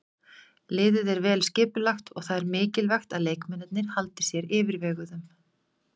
Liðið er vel skipulagt og það er mikilvægt að leikmennirnir haldi sér yfirveguðum.